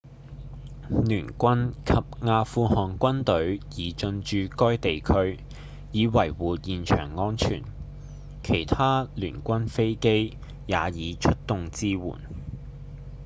聯軍及阿富汗軍隊已進駐該地區以維護現場安全其他聯軍飛機也已出動支援